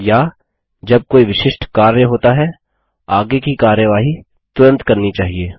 या जब कोई विशिष्ट कार्य होता है आगे की कार्यवाही तुरंत करनी चाहिए